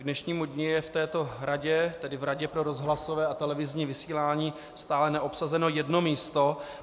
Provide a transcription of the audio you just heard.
K dnešnímu dni je v této radě, tedy v Radě pro rozhlasové a televizní vysílání, stále neobsazeno jedno místo.